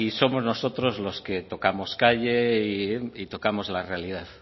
somos nosotros los que tocamos calle y tocamos la realidad